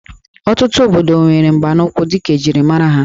Ọtụtụ obodo nwere mgbanaụkwụ dịka njirimara ha